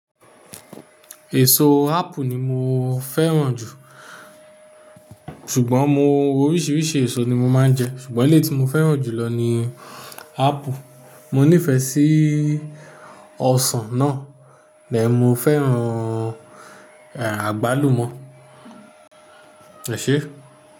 Èso apple ni mo fẹ́ràn jù. Ṣùgbọ́n mo oríṣiríṣi èso ni mo máa ń jẹ. Ṣùgbọ́n èlé tí mo fẹ́ràn jùlọ ni apple. Mo nífẹ̀ẹ́ sí ọsàn náà, lẹ́ẹ̀mo fẹ́ràn àgbálùmọ̀. Ẹ ṣe?